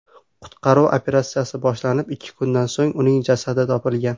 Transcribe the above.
Qutqaruv operatsiyasi boshlanib, ikki kundan so‘ng uning jasadi topilgan.